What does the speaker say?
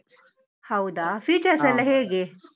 ಹೌದಾ, features ಎಲ್ಲ ಹೇಗೆ?